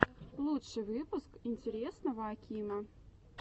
лучший выпуск интересного акима